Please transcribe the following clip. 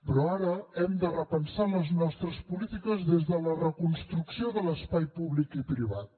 però ara hem de repensar les nostres polítiques des de la reconstrucció de l’espai públic i privat